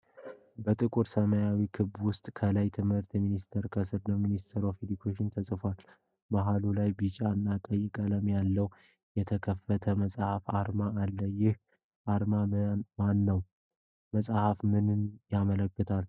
በጥቁር ሰማያዊ ክብ ውስጥ፣ ከላይ "ትምህርት ሚኒስቴር" ከስር ደግሞ "MINISTRY OF EDUCATION" ተጽፏል። መሃሉ ላይ ቢጫ እና ቀይ ቀለም ያለው የተከፈተ መጽሐፍ አርማ አለ። ይህ አርማ የማን ነው? መጽሐፉ ምንን ያመለክታል?